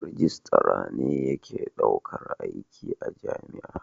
Rijistara ne yake daukar aiki a jami'a.